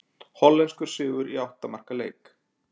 Hollenskur sigur í átta marka leik